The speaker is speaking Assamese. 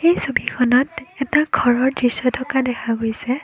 এই ছবিখনত এটা ঘৰৰ দৃশ্য থকা দেখা গৈছে।